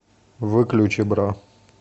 выключи бра